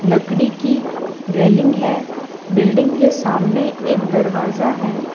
लकड़ी की रेलिंग है बिल्डिंग के सामने एक दरवाजा है।